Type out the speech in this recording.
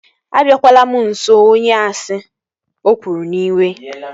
Abiakwala m nso onye asị! O kwuru n'iwe